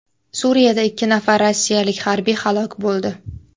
Suriyada ikki nafar rossiyalik harbiy halok bo‘ldi.